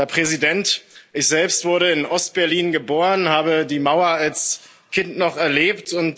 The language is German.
Herr Präsident, ich selbst wurde in Ostberlin geboren und habe die Mauer als Kind noch erlebt.